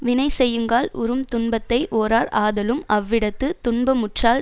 வினைசெய்யுங்கால் உறும் துன்பத்தை ஓரார் ஆதலும் அவ்விடத்துத் துன்பமுற்றால்